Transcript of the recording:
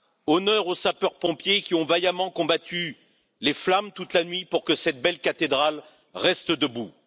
Honneur aux sapeurs pompiers qui ont vaillamment combattu les flammes toute la nuit pour que cette belle cathédrale reste debout.